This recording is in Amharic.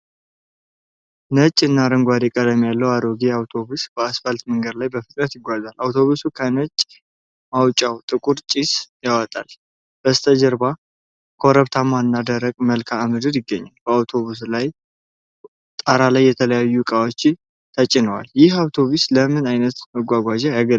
ነጭና አረንጓዴ ቀለም ያለው አሮጌ አውቶቡስ በአስፋልት መንገድ ላይ በፍጥነት ይጓዛል። አውቶቡሱ ከጭስ ማውጫው ጥቁር ጭስ ያወጣል፤ ከበስተጀርባ ኮረብታማና ደረቅ መልክአ ምድር ይገኛል። በአውቶቡስ ጣራ ላይ የተለያዩ እቃዎች ተጭነዋል። ይህ አውቶቡስ ለምን ዓይነት መጓጓዣ ያገለግላል?